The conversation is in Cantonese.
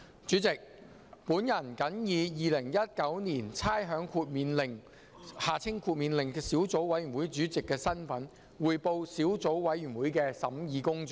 主席，我謹以《2019年差餉令》小組委員會主席的身份，匯報小組委員會的審議工作。